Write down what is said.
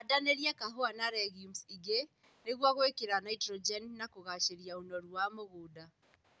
Handanĩrĩa kahũa na regiumu ingĩ nĩguo gwĩkĩra naitrogeni na kũgacĩria ũnoru wa mũgũnda